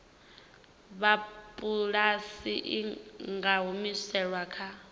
sapulasi i nga humiselwa kha